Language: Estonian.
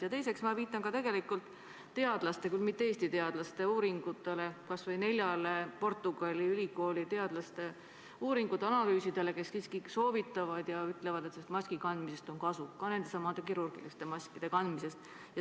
Ja teiseks, ma viitan tegelikult ka teadlaste – küll mitte Eesti teadlaste – uuringutele, kas või Portugali ülikooli teadlaste uuringutele ja analüüsidele, milles maski kandmist siiski soovitatakse ja öeldakse, et sellest on kasu, ka nendesamade kirurgiliste maskide kandmisest.